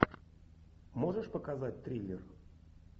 можешь показать триллер